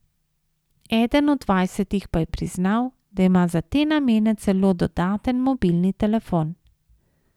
Eden od dvajsetih pa je priznal, da ima za te namene celo dodaten mobilni telefon.